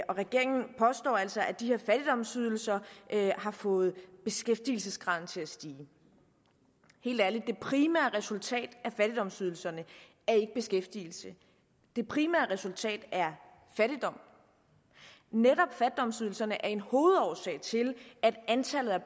regeringen påstår altså at de her fattigdomsydelser har fået beskæftigelsesgraden til at stige helt ærligt det primære resultat af fattigdomsydelserne er ikke beskæftigelse det primære resultat er fattigdom netop fattigdomsydelserne er en hovedårsag til at antallet af